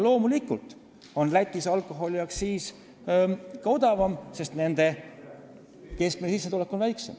Loomulikult on Lätis alkoholiaktsiis madalam, sest nende keskmine sissetulek on väiksem.